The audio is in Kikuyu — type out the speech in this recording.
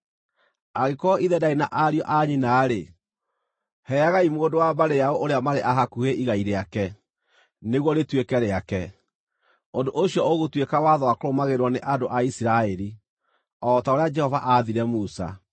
Angĩkorwo ithe ndaarĩ na ariũ a nyina-rĩ, heagai mũndũ wa mbarĩ yao ũrĩa marĩ a igai rĩake, nĩguo rĩtuĩke rĩake. Ũndũ ũcio ũgũtuĩka watho wa kũrũmagĩrĩrwo nĩ andũ a Isiraeli, o ta ũrĩa Jehova aathire Musa.’ ”